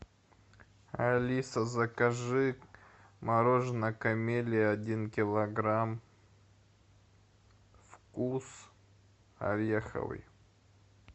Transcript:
алиса закажи мороженое камелия один килограмм вкус ореховый